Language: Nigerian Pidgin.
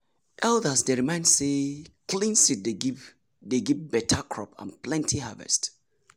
elders dey remind say clean seed dey give dey give better crop and plenty harvest.